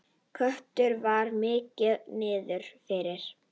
Kötu var mikið niðri fyrir.